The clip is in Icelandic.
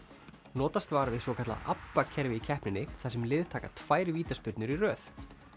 notast var við svokallað ABBA kerfi í keppninni þar sem lið taka tvær vítaspyrnur í röð